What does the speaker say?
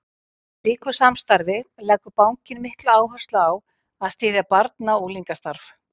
Í slíku samstarfi leggur bankinn mikla áherslu á að styðja barna- og unglingastarf.